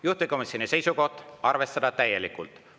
Juhtivkomisjoni seisukoht on arvestada täielikult.